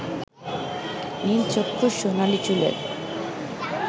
নীলচক্ষু সোনালী চুলের